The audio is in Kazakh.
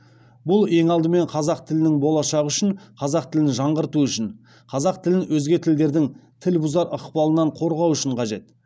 бұл ең алдымен қазақ тілінің болашағы үшін қазақ тілін жаңғырту үшін қазақ тілін өзге тілдердің тіл бұзар ықпалынан қорғау үшін қажет